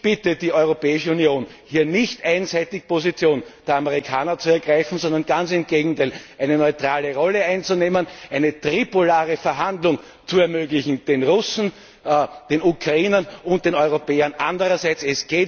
Ich bitte die Europäische Union, hier nicht einseitig die Position der Amerikaner zu ergreifen, sondern ganz im Gegenteil eine neutrale Rolle einzunehmen, eine tripolare Verhandlung zu ermöglichen den Russen, den Ukrainern und den Europäern andererseits.